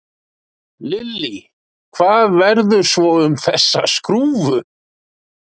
Lillý: Hvað verður svo um þessa skrúfu?